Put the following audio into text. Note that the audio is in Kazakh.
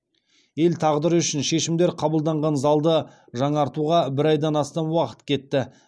ел тағдыры үшін шешімдер қабылданған залды жаңартуға бір айдан астам уақыт кетті